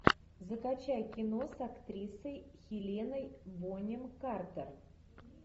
закачай кино с актрисой хеленой бонем картер